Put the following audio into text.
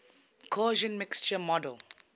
gaussian mixture model